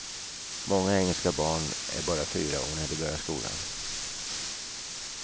Många engelska barn är bara fyra år när de börjar skolan.